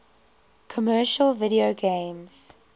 commercial video games